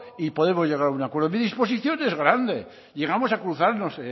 y podemos llegar a un acuerdo mi disposición es grande llegamos a cruzarnos